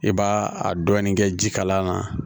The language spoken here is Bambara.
I b'a a dɔɔni kɛ ji kala na